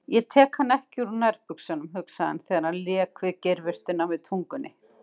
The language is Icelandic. Ég tek hana ekki úr nærbuxunum, hugsaði hann þegar hann lék við geirvörtuna með tungunni.